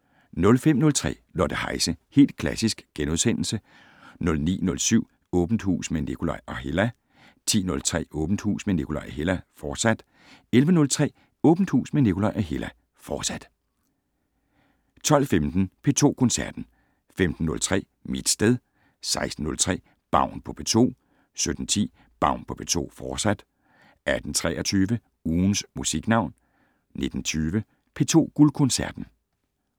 05:03: Lotte Heise - Helt Klassisk * 09:07: Åbent Hus med Nikolaj og Hella 10:03: Åbent Hus med Nikolaj og Hella, fortsat 11:03: Åbent Hus med Nikolaj og Hella, fortsat 12:15: P2 Koncerten 15:03: Mit sted 16:03: Baun på P2 17:10: Baun på P2, fortsat 18:23: Ugens Musiknavn 19:20: P2 Guldkoncerten